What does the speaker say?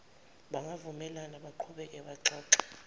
bangavumelana baqhubeke baxoxe